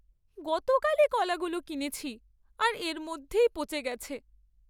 গতকালই কলাগুলো কিনেছি আর এর মধ্যেই পচে গেছে।